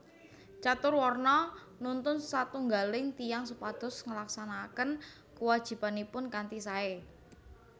Caturwarna nuntun satunggaling tiyang supados nglaksanakaken kuwajibanipun kanthi sae